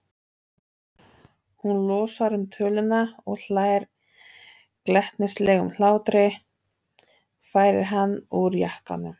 Hún losar um töluna og hlær glettnislegum hlátri, færir hann úr jakkanum.